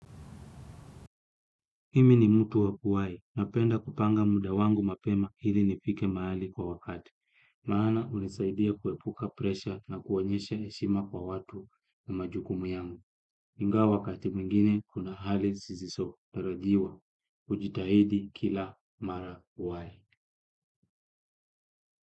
Mimi ni mutu wa kuwai. Napenda kupanga muda wangu mapema ili nifike mahali kwa wakati. Maana hunisaidia kuepuka presha na kuonyesha heshima kwa watu na majukumu yangu. Ingawa wakati mwingine kuna hali sisi so. Darajiwa. Ujitahidi kila mara kuwai.